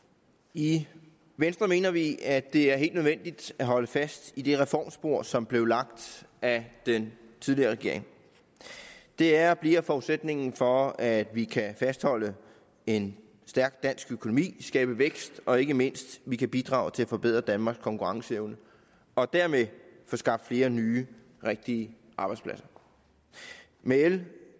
i venstre mener vi at det er helt nødvendigt at holde fast i det reformspor som blev lagt af den tidligere regering det er og bliver forudsætningen for at vi kan fastholde en stærk dansk økonomi skabe vækst og ikke mindst at vi kan bidrage til at forbedre danmarks konkurrenceevne og dermed få skabt flere nye rigtige arbejdspladser med l